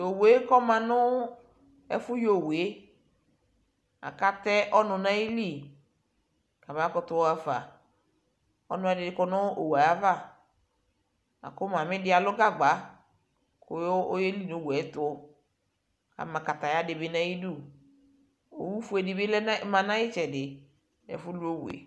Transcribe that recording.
ohoué kɔ